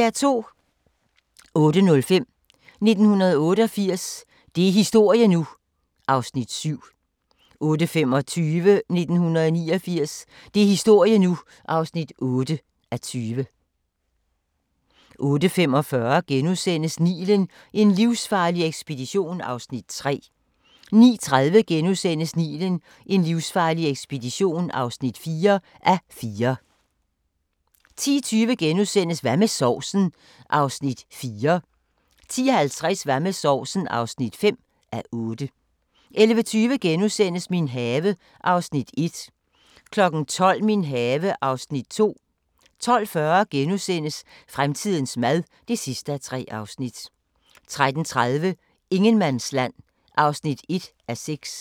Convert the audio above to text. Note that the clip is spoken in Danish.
08:05: 1988 – det er historie nu! (7:20) 08:25: 1989 – det er historie nu! (8:20) 08:45: Nilen: en livsfarlig ekspedition (3:4)* 09:30: Nilen: en livsfarlig ekspedition (4:4)* 10:20: Hvad med sovsen? (4:8)* 10:50: Hvad med sovsen? (5:8) 11:20: Min have (Afs. 1)* 12:00: Min have (Afs. 2) 12:40: Fremtidens mad (3:3)* 13:30: Ingenmandsland (1:6)